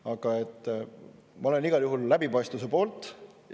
Aga ma olen igal juhul läbipaistvuse poolt.